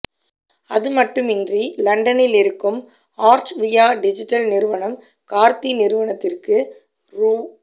அதுமட்டுமின்றி லண்டனில் இருக்கும் ஆர்ட்வியா டிஜிடல் நிறுவனம் கார்த்தி நிறுவனத்துக்கு ரூ